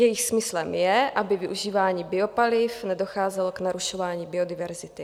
Jejich smyslem je, aby využíváním biopaliv nedocházelo k narušování biodiverzity.